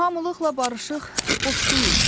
Hamılıqla barışıq boş deyil.